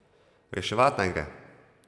Reševat naj gre!